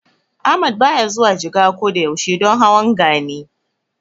Ahmad baya zuwa Jigawa ko da yaushe don hawan Gani.